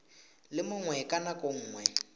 le mongwe ka nako nngwe